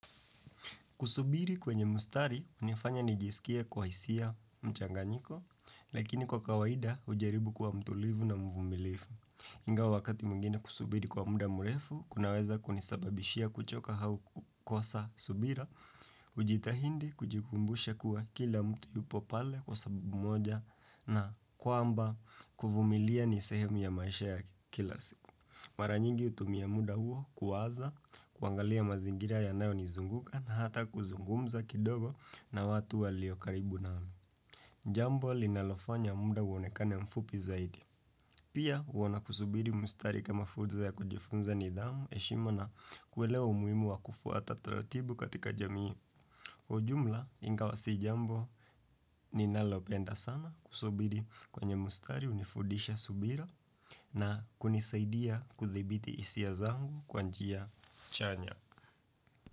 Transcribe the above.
Kusubiri kwenye mustari, hunifanya nijisikie kwa hisia mchanganyiko, lakini kwa kawaida ujaribu kuwa mtulivu na mvumilifu. Ingawa wakati mwingine kusubiri kwa muda murefu, kunaweza kunisababishia kuchoka hau kukosa subira, hujitahindi kujikumbusha kuwa kila mtu yupo pale kwasababu moja na kwamba kuvumilia ni sehemu ya maisha ya kila siku. Maranyingi utumia muda huo kuwaza kuangalia mazingira yanayo nizunguka na hata kuzungumza kidogo na watu waliokaribu nami. Jambo linalofanya muda uonekane mfupi zaidi. Pia huona kusubiri mustari kama fursa ya kujifunza nidhamu heshima na kuelewa umuhimu wa kufuata taratibu katika jamii. Kwa ujumla ingawa sijambo ni nalopenda sana kusubiri kwenye mustari unifudisha subira na kunisaidia kudhibiti hisia zangu kwa njia chanya.